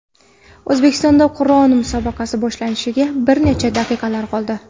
O‘zbekistonda Qur’on musobaqasi boshlanishiga bir necha daqiqalar qoldi .